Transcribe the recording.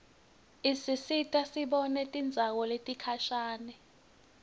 isisita sibone tindzawo letikhashane